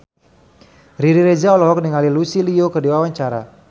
Riri Reza olohok ningali Lucy Liu keur diwawancara